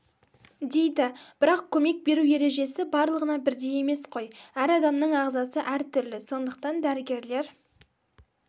дейді бірақ көмек беру ережесі барлығына бірдей емес қой әр адамның ағзасы әртүрлі сондықтан дәрігерлер